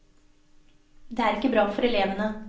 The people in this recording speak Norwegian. Det er ikke bra for elevene.